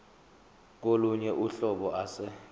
kolunye uhlobo ase